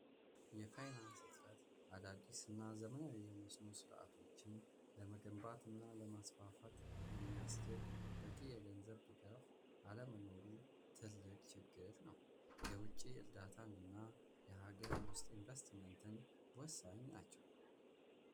የፋይናንስ እጥረት አዳዲስ ና ዘመናዊ የመስኖ ሥርዓቶችን ለመገንባት እና ለማስፋፋት የሚያስችል በቂ የገንዘብ ድጋፍ ዓለመኖሩ ትልቅ ችግል ነው። የውጪ ዕርዳታን እና የሀገር ውስጥ ኢንቨስትመንትን ወሳኝ ናቸው።